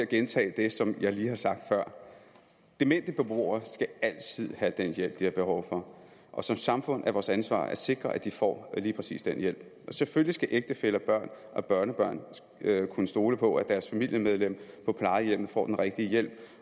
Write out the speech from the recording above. at gentage det som jeg lige har sagt før demente beboere skal altid have den hjælp de har behov for og som samfund er det vores ansvar at sikre at de får lige præcis den hjælp selvfølgelig skal ægtefæller børn og børnebørn kunne stole på at deres familiemedlem på plejehjemmet får den rigtige hjælp